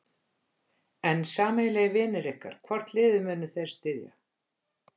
En sameiginlegir vinir ykkar, hvort liðið munu þeir styðja?